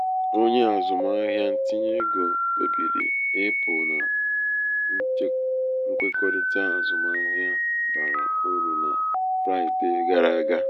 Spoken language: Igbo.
onye azụmahịa um ntinye ego um kpebiri ịpụ na um nkwekọrịta azụmahịa bara uru na fraịdee gara aga.